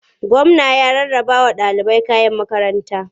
Gwamna ya rarrabawa ɗalibai kayan makaranta.